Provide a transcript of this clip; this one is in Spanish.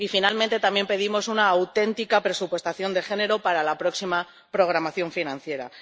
Y, finalmente, también pedimos una auténtica presupuestación de género para la próxima programación financiera.